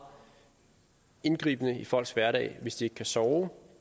indgribende i folks hverdag hvis de ikke kan sove